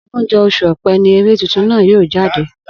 Ogúnjó̩ os̩ù O̩pé̩ ní eré tuntun náà yóò jáde